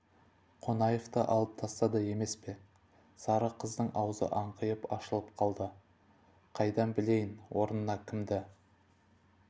қонаевты алып тастады емес пе сары қыздың аузы аңқиып ашылып қалды қайдан білейін орнына кімді